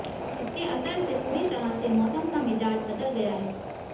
इसके असर से पूरी तरह से मौसम का मिजाज बदल गया है